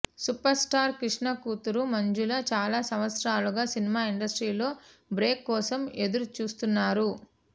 super star Krishna కూతురు మంజుల చాలా సంవత్సరాలుగా సినిమా ఇండస్ట్రీలో బ్రేక్ కోసం ఎదురు చూస్తున్నారు